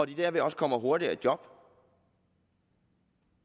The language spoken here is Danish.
de derved også kommer hurtigere i job